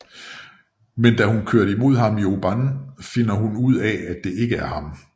Men da hun kører imod ham i Oban finder hun ud af at det ikke er ham